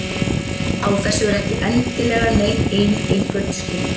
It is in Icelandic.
Á þessu er ekki endilega nein ein einföld skýring.